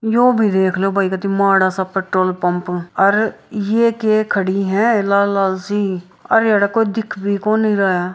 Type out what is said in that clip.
यो भी देखलो भाई पेट्रोल पंप और ये के खड़ी है लाल-लालसी अरे अरे कोई दिख भी को नहीं रहा है ।